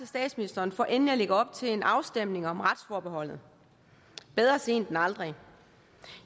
statsministeren for endelig at lægge op til en afstemning om retsforbeholdet bedre sent end aldrig